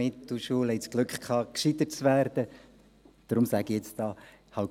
Deshalb sage ich an dieser Stelle gleichwohl etwas.